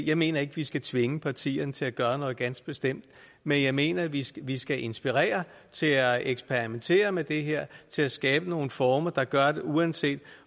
jeg mener ikke vi skal tvinge partierne til at gøre noget ganske bestemt men jeg mener vi skal vi skal inspirere til at eksperimentere med det her til at skabe nogle former der gør at uanset